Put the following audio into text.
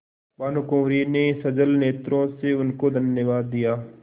भानुकुँवरि ने सजल नेत्रों से उनको धन्यवाद दिया